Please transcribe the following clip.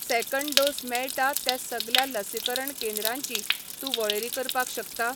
Second dose मेळटा त्या सगल्या लसीकरण केंद्रांची तूं वळेरी करपाक शकता?